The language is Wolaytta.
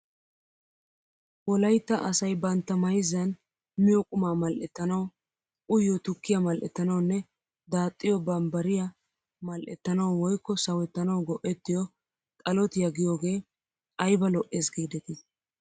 Wolayitta asayi bantta mayizzan miyyoo qumaa mal'ettanawuu, uyiyoo tukkiyaa mal'ettanawunne daaxxiyoo bambbariyaa mal'ettanawu woyikko sawettanawu go'ettiyoo xalotiyaa giyoogee ayiba lo'es giideti!